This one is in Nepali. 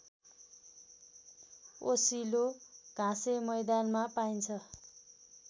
ओसिलो घाँसेमैदानमा पाइन्छ